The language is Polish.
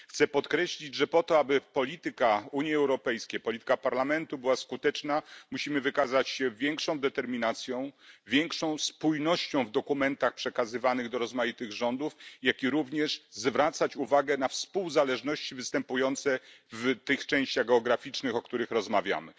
Chcę podkreślić, że po to, aby polityka Unii Europejskiej, polityka Parlamentu była skuteczna, musimy wykazać się większą determinacją, większą spójnością w dokumentach przekazywanych do rozmaitych rządów, jak i również zwracać uwagę na współzależności występujące w tych częściach geograficznych, o których rozmawiamy.